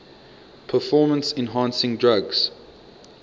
performance enhancing drugs